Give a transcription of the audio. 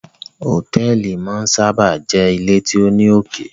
Hotẹẹli máa n sábà jé ile tí o ní oké